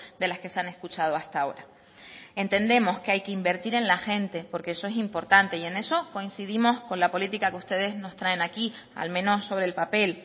de las que se han escuchado hasta ahora entendemos que hay que invertir en la gente porque eso es importante y en eso coincidimos con la política que ustedes nos traen aquí al menos sobre el papel